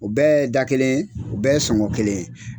U bɛɛ ye da kelen ye u bɛɛ ye sɔngɔn kelen ye.